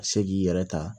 Ka se k'i yɛrɛ ta